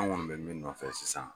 An kɔni bɛ min nɔfɛ sisan